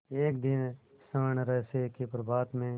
एक दिन स्वर्णरहस्य के प्रभात में